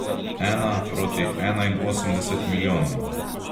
Ena proti enainosemdeset milijonom.